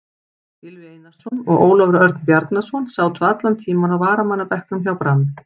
Gylfi Einarsson og Ólafur Örn Bjarnason sátu allan tímann á varamannabekknum hjá Brann.